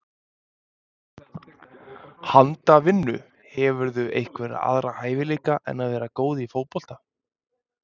Handavinnu Hefurðu einhverja aðra hæfileika en að vera góð í fótbolta?